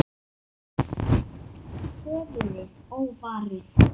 Höfuðið óvarið.